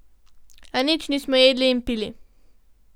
A nič nismo jedli in pili.